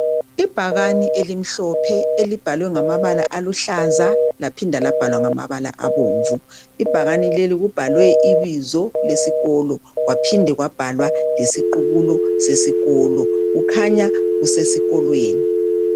ibhakane elimhlophe elibhalwe ngamabala amnyama laphindwa labhalwa ngamabala amhlophe ibhakane kubhalwe ibzo lesikolo kwaphinda kwabhalwa lesiqhubulo sesikolo kukhanya kusesikolweni